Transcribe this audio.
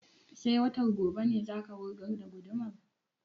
Sai watan gobe ne za ka wurgar da gudumar?